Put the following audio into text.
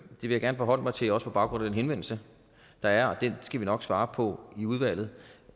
vil jeg gerne forholde mig til også på baggrund af den henvendelse der er og den skal vi nok svare på i udvalget